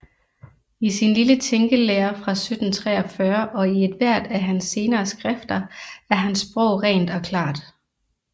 I sin lille tænkelære fra 1743 og i ethvert af hans senere skrifter er hans sprog rent og klart